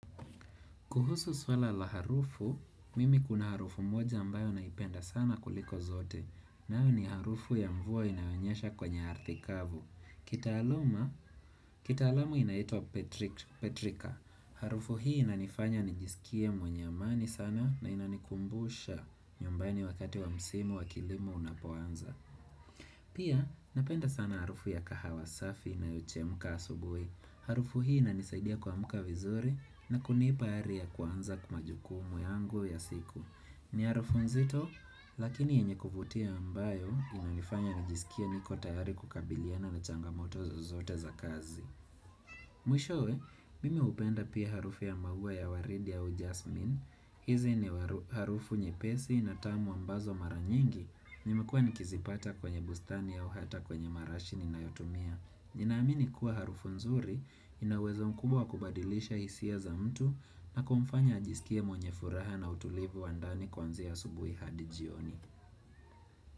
Kuhusu swala la harufu, mimi kuna harufu moja ambayo naipenda sana kuliko zote. Nayo ni harufu ya mvua inayonyesha kwenye ardhi kavu. Kitaalama, kita alamu inaitwa Petrika. Harufu hii inanifanya nijisikie mwenye amani sana na inanikumbusha nyumbani wakati wa msimu wa kilimo unapuanza. Pia, napenda sana harufu ya kahawa safi inayo chemka asubuhi. Harufu hii inanisaidia kwamka vizuri na kunipa ari ya kwanza kumajukumu yangu ya siku. Ni harufu nzito, lakini yenye kuvutia ambayo inanifanya njisikie niko tayari kukabiliana na changamotozo zote za kazi. Mwishowe, mimi upenda pia harufu ya mabuwa ya waridi ya jasmin. Hizi ni harufu nye pesi na tamu ambazo mara nyingi. Nimekua nikizipata kwenye bustani au hata kwenye marashi ninayotumia. Ninaamini kuwa harufu nzuri inawezo mkubwa kubadilisha hisia za mtu na kumfanya ajisikie mwenye furaha na utulivu wa ndani kwanzia asubuhi hadijioni.